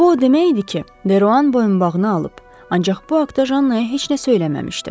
Bu o demək idi ki, Deroan boyunbağını alıb, ancaq bu haqda Jannaya heç nə söyləməmişdi.